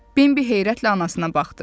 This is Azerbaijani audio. Bimbi heyrətlə anasına baxdı.